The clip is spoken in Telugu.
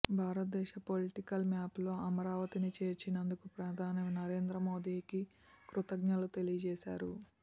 భారతదేశ పొలిటికల్ మ్యాప్ లో అమరావతిని చేర్చినందుకు ప్రధాని నరేంద్ర మోదీకి కృతజ్ఞతలు తెలియజేశారు